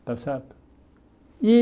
Está certo? E